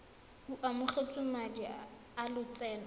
o amogetse madi a lotseno